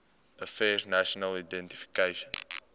affairs national identification